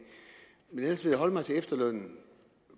men ellers vil jeg holde mig til efterlønnen